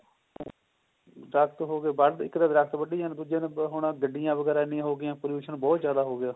ਦਰੱਖਤ ਹੋ ਗਏ ਵੱਡ ਇੱਕ ਤਾਂ ਵੱਡੀ ਜਾਂਦੇ ਨੇ ਦੂਜਾ ਹੁਣ ਗੱਡੀਆਂ ਵਗੇਰਾ ਦੀ ਹੋ ਗਿਆਂ pollution ਬਹੁਤ ਜਿਆਦਾ ਹੋ ਗਿਆ